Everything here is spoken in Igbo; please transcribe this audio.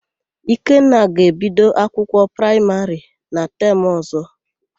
Ikenna ga-ebido akwụkwọ praịmarị na temụ ọ̀zọ́.